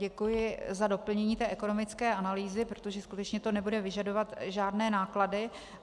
Děkuji za doplnění té ekonomické analýzy, protože skutečně to nebude vyžadovat žádné náklady.